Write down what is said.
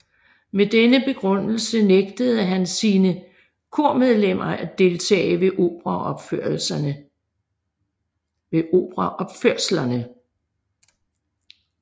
Med denne begrundelse nægtede han sine kormedlemmer at deltage ved operaopførslerne